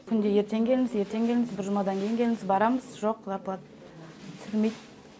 күнде ертең келіңіз ертең келіңіз бір жұмадан кейін келіңіз барамыз жоқ зарплата түсірмейді